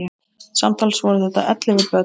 Samtals voru þetta ellefu börn.